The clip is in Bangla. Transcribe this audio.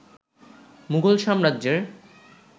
মুঘল সাম্রাজ্যের